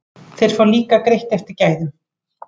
Þeir fá líka greitt eftir gæðum.